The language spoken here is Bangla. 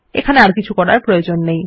এখানে আর কিছু করার প্রয়োজন নেই